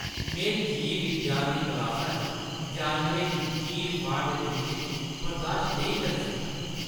में जीव विज्ञान दी क्लासा च जानवरें दी चीर-फाड़ दे द्रिश्श गी बर्दाश्त नेईं करी सकदा।